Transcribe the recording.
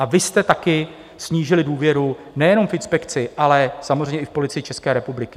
A vy jste také snížili důvěru nejenom v inspekci, ale samozřejmě i v Policii České republiky.